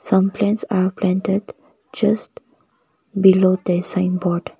some plants are planted just below the signboard.